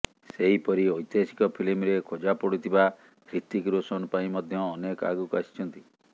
ସେହିପରି ଐତିହାସିକ ଫିଲ୍ମରେ ଖୋଜାପଡୁଥିବା ହ୍ରିତିକ ରୋଶନ ପାଇଁ ମଧ୍ୟ ଅନେକ ଆଗକୁ ଆସିଛନ୍ତି